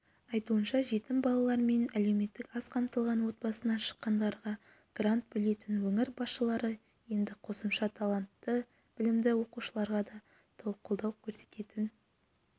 айтуынша жетім балалар мен әлеуметтік аз қамтылған отбасынан шыққандарға грант бөлетін өңір басшылары енді қосымша талантты білімді оқушыларға да қолдау көрсететін